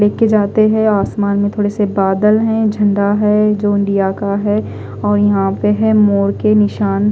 लेके जाते है आसमान में थोड़े से बादल है झंडा है जो इंडिया का है और यहा पे है मोर के निशान--